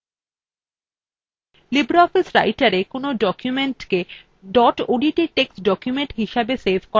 libreoffice writerএ documentsকে dot odt text documents হিসাবে সেভ করা ছাড়াও